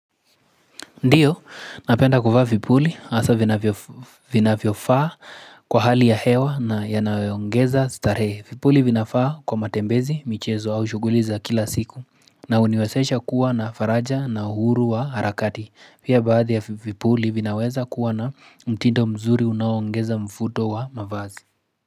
Ndio, napenda kuvaa vipuli, hasa vina vyofaa kwa hali ya hewa na ya nayoongeza starehe. Vipuli vinafaa kwa matembezi, michezo au shuguli za kila siku. Na uniwezesha kuwa na faraja na uhuru wa harakati. Pia baadhi ya vipuli vinaweza kuwa na mtindo mzuri unaongeza mfuto wa mavazi.